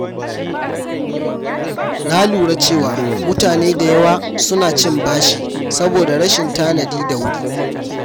Na lura cewa mutane da yawa suna cin bashi saboda rashin tanadi da wuri.